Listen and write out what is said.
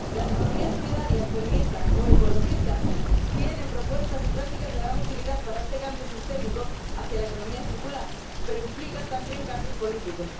Las economías solidarias, feministas o ecologistas tienen propuestas y prácticas de gran utilidad para este cambio sistémico hacia la economía circular, pero implican también cambios políticos.